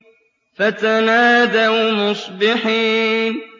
فَتَنَادَوْا مُصْبِحِينَ